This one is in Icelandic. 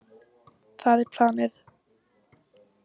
Það er planið.